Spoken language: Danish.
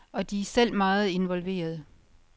Og de er selv meget involveret.